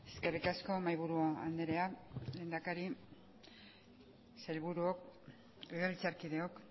eskerrik asko mahaiburu andrea lehendakari sailburuok legebiltzarkideok